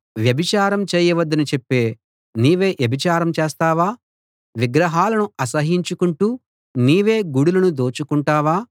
వ్యభిచారం చేయవద్దని చెప్పే నీవే వ్యభిచారం చేస్తావా విగ్రహాలను అసహ్యించుకుంటూ నీవే గుడులను దోచుకుంటావా